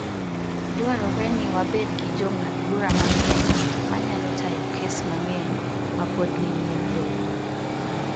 Dwarore ni wabed gi jong'ad-bura mang'eny ma nyalo tayo kes mang'eny ma pod ni nyim doho.